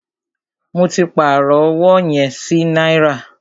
Mó tí pàárọ̀ ọwọ yẹn sí náírà.